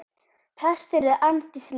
Prestur er Arndís Linn.